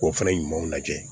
K'o fana ɲumanw lajɛ